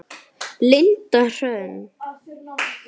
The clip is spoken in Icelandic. Linda Hrönn.